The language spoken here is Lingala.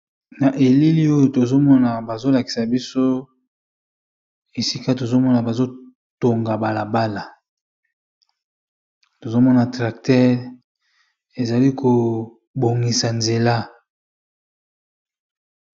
Na elili oyo tozo mona bazo lakisa biso esika tozo mona bazo tonga balabala . Tozo mona tracteur ezali ko bongisa nzela .